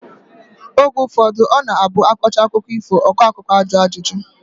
Oge ụfọdụ ọ na-abụ a kọchaa akụkọ ifo, ọkọakụ́kọ a jụọ ajụjụ